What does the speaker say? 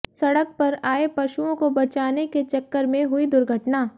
सड़क पर आये पशुओं को बचाने के चक्कर में हुई दुर्घटना